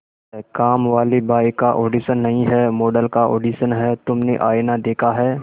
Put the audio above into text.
कामवाली बाई का ऑडिशन नहीं है मॉडल का ऑडिशन है तुमने आईना देखा है